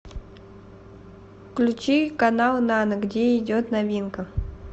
включи канал нано где идет новинка